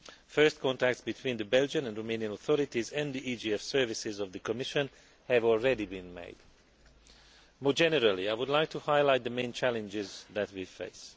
First contacts between the Belgian and Romanian authorities and the EGF services of the Commission have already been made. More generally, I would like to highlight the main challenges that we face.